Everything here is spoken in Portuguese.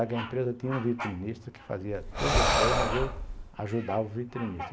A empresa tinha um vitrinista que fazia todas as coisas, mas eu ajudava o vitrinista.